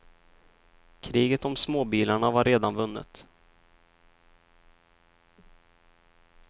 Kriget om småbilarna var redan vunnet.